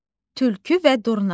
Tülkü və Durna.